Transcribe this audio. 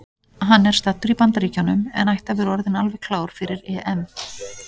Hann er staddur í Bandaríkjunum en ætti að vera orðinn alveg klár fyrir EM.